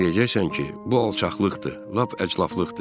Sən deyəcəksən ki, bu alçaqlıqdır, lap əclafdıqdır.